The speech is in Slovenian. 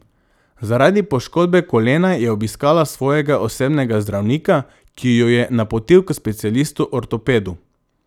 Zaradi poškodbe kolena je obiskala svojega osebnega zdravnika, ki jo je napotil k specialistu ortopedu.